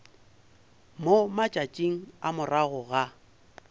mo matšatšing a morago ga